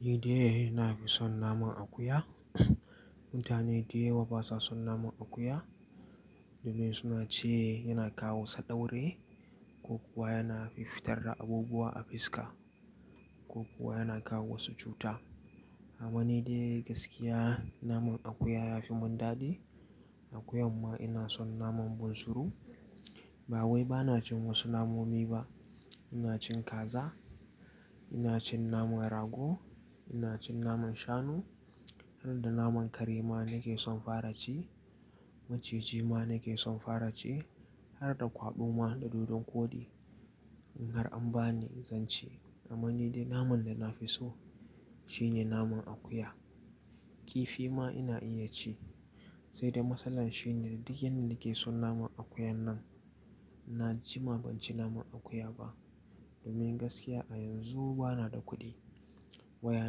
Ni dai ina fi son naman akuya. Mutane da yawa basa son naman akuya domin suna ce yana kawo sadauri ko kuwa yana fifitar da abubuwa a fiska ko kuwa yana kawo wasu cuta. Amma ni dai gaskiya naman akuya ya fi mun dadi. Akuya ma ina son naman bunsuru. Ba wai bana cin wasu namomi ba. Ina cin kaza, ina cin naman rago, ina cin naman shanu har da naman kare ma nake son fara ci. Maciji ma nake son fara ci har da kwaɓɓu ma da dodon koɗi in har an bani zan ci. Amma ni dai naman da na fi so shine naman akuya. Kifi ma ina iya ci sai dai matsalar shine duk yanda nake son naman akuya nan na jima ban ci naman akuya ba. Domin gaskiya a yanzu bana da kuɗi. Waya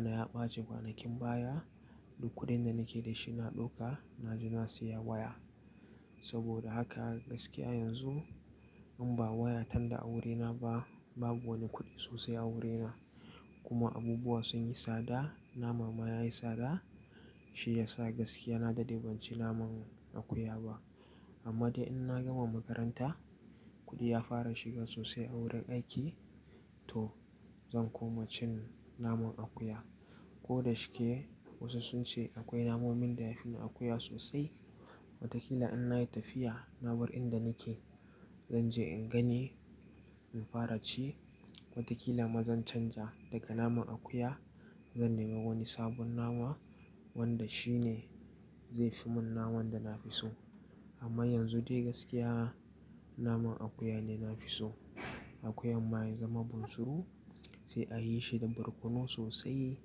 na ya ɓace kwanakin baya duk kuɗin da nake da shi na ɗauka na je na siya waya. Saboda haka gaskiya yanzu in ba waya tan da a wuri na ba babu wani kuɗi sosai a wuri na. Kuma abubuwa sun yi tsada, nama ma ya yi tsada shi ya sa gaskiya na dadde ban ci naman akuya ba. Amma dai in na gama makaranta kuɗi ya fara shiga sosai a wurin aiki to zan koma cin naman akuya. Ko da shike wasu sun ce akwai namomin da yafi na akuya sosai watakila in nayi tafiya na bar inda nake zan je in gani in fara ci. Watakila ma zan canja daga naman akuya zan nemi wani sabon nama wanda shi ne zai fi mun naman da na fi so. Amma yanzu dai gaskiya naman akuya ne na fi so. Akuya ma ya zama bunsuru sai a yi shi da barkono sosai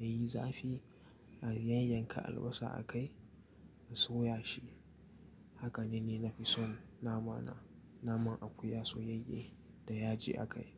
ya yi zafi a yayyanka albasa a kai a soya shi. Haka ne ni na fi son namana, naman akuya soyayye da yaji a kai.